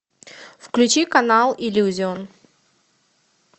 включи канал иллюзион